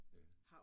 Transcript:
Ja